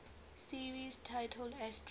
series titled astro